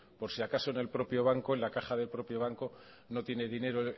por si acaso en el propio banco en la caja del propio banco no tiene dinero